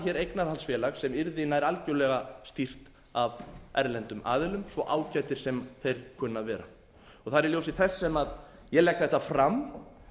hér eignarhaldsfélag sem yrði nær algjörlega stýrt af erlendum aðilum svo ágætir sem þeir kunna að vera það er í ljósi þess sem ég legg þetta fram